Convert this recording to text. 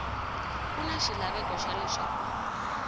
ku na xilaveko xa leswaku